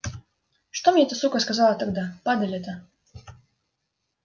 что мне эта сука сказала тогда падаль эта